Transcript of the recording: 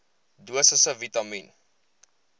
dosisse vitamien